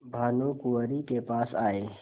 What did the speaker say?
भानुकुँवरि के पास आये